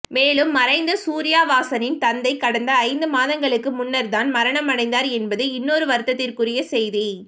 மேலும் மறைந்த சூர்யா வாசனின் தந்தை கடந்த ஐந்து மாதங்களுக்கு முன்னர்தான் மரணம் அடைந்தார் என்பது இன்னொரு வருத்தத்திற்குரிய செய்தி